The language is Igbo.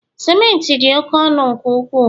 Simenti di oke ọnu nke ukwuu